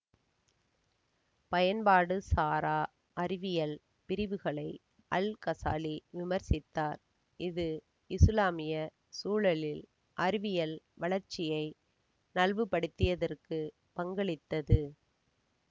பயன்பாடு சாரா அறிவியல் பிரிவுகளை அல் கசாலி விமர்சித்தார் இது இசுலாமிய சூழலில் அறிவியல் வளர்ச்சியை நல்வுபடுத்தியதற்கு பங்களித்தது